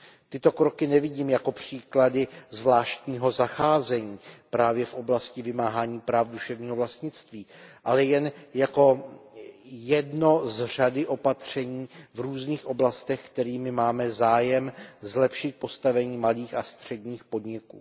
Tyto kroky nevidím jako příklady zvláštního zacházení právě v oblasti vymáhání práv duševního vlastnictví, ale jen jako jedno z řady opatření v různých oblastech, kterými máme zájem zlepšit postavení malých a středních podniků.